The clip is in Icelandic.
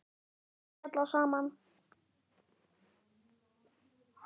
Sverðin skella saman.